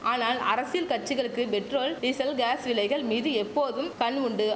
ஆனால் அரசியல் கட்சிகளுக்கு பெட்ரோல் டீசல் காஸ் விலைகள் மீது எப்போதும் கண் உண்டு